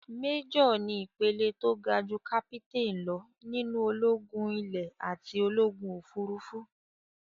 Méjọ̀ ni ìpele tó ga jú Kápítáìn lọ nínú ológún ilè àti ológùn òfurufú.